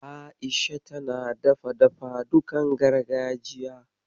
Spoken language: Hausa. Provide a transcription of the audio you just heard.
A'isha tana dafa dafadukan gargajiya.